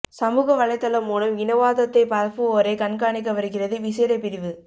சமூக வலைத்தளம் மூலம் இனவாதத்தை பரப்புவோரை கண்காணிக்க வருகிறது விசேட பிரிவு